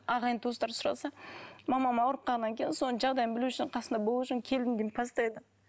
ағайын туыстар сұраса мамам ауырып қалғаннан кейін соның жағдайын білу үшін қасында болу үшін келдім деймін постоянно